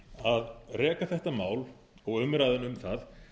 að reka þetta mál og umræðuna um það